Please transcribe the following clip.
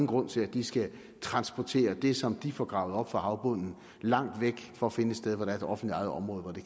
grund til at de skal transportere det som de får gravet op fra havbunden langt væk for at finde et sted hvor der er et offentligt ejet område hvor det